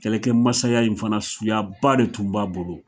Kɛlɛkɛ masaya in fana suyaba de tun b'a bolo